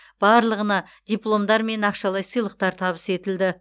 барлығына дипломдар мен ақшалай сыйлықтар табыс етілді